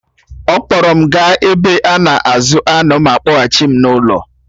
She took me to the Ranch and then took me back home